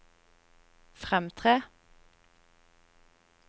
fremtre